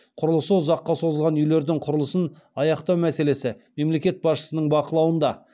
құрылысы ұзаққа созылған үи лердің құрылысын аяқтау мәселесі мемлекет басшысының бақылауында